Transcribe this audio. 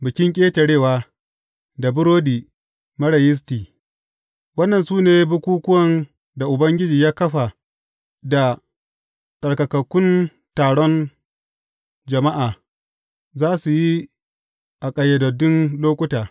Bikin Ƙetarewa da Burodi Marar Yisti Waɗannan su ne bukukkuwan da Ubangiji ya kafa da tsarkakakkun taron jama’a za su yi a ƙayyadaddun lokuta.